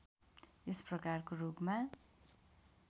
यस प्रकारको रोगमा